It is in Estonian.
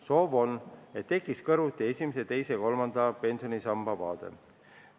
Soov on, et tekiks kõrvuti esimese, teise ja kolmanda pensionisamba vaade.